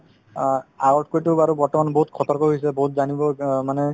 আ ~ আগতাকৈতো বাৰু বৰ্তমান বহুত সতৰ্ক হৈছে বহুত জানিব অ মানে